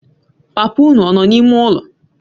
Papa unu ọ nọ na-ime ụlọ?